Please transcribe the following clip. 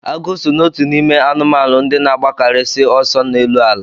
Agụ so n'otu n'ime anụmanụ ndị na-agbakarịsị ọsọ n'elu ala.